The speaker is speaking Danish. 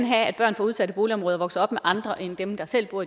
have at børn fra udsatte boligområder vokser op med andre end dem der selv bor